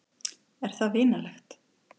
Er það vinalegt?